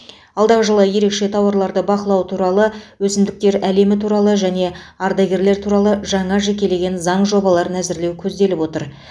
алдағы жылы ерекше тауарларды бақылау туралы өсімдіктер әлемі туралы және ардагерлер туралы жаңа жекелеген заң жобаларын әзірлеу көзделіп отыр